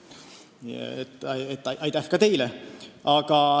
Aitäh ka teile!